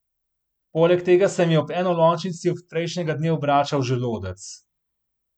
Poleg tega se mi je ob enolončnici od prejšnjega dne obračal želodec.